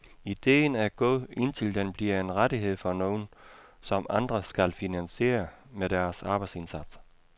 Idéen er god, indtil den bliver en rettighed for nogen, som andre skal finansiere med deres arbejdsindsats.